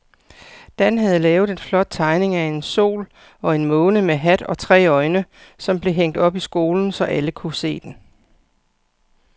Dan havde lavet en flot tegning af en sol og en måne med hat og tre øjne, som blev hængt op i skolen, så alle kunne se den.